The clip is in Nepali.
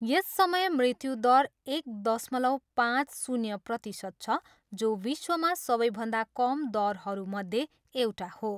यस समय मृत्यु दर एक दशमलव पाँच शून्य प्रतिशत छ जो विश्वमा सबैभन्दा कम दरहरूमध्ये एउटा हो।